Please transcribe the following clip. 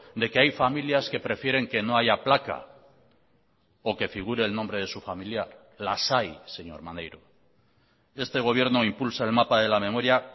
de que hay familias que prefieren que no haya placa o que figure el nombre de su familiar las hay señor maneiro este gobierno impulsa el mapa de la memoria